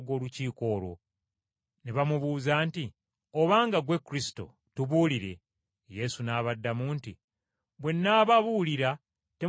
Ne bamubuuza nti, “Obanga ggwe Kristo, tubuulire.” Yesu n’abaddamu nti, “Bwe nnaababuulira temujja kunzikiriza,